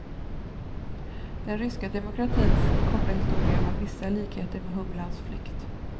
Den ryska demokratins korta historia har vissa likheter med humlans flykt.